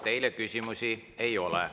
Teile küsimusi ei ole.